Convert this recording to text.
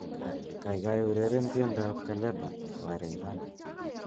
kaigai ureren tiendab kalebe wa rayvanny